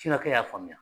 y'a faamuya